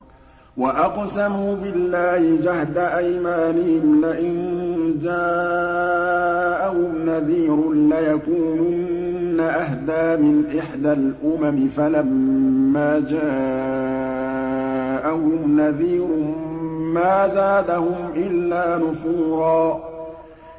وَأَقْسَمُوا بِاللَّهِ جَهْدَ أَيْمَانِهِمْ لَئِن جَاءَهُمْ نَذِيرٌ لَّيَكُونُنَّ أَهْدَىٰ مِنْ إِحْدَى الْأُمَمِ ۖ فَلَمَّا جَاءَهُمْ نَذِيرٌ مَّا زَادَهُمْ إِلَّا نُفُورًا